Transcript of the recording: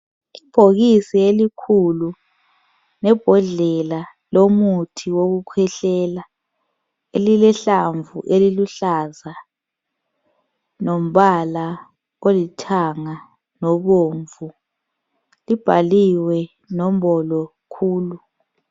Ibhokisi elikhulu lebhodlela lomuthi wokukhwehlela. Elilehlamvu eliluhlaza lombala olithanga lobomvu. Libhaliwe nombolo khulu.